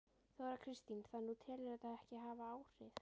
Þóra Kristín: Þannig að þú telur þetta ekki hafa áhrif?